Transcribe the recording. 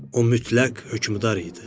O mütləq hökmdar idi.